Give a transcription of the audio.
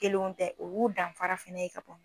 Kelenw tɛ o y'u danfara fana ye ka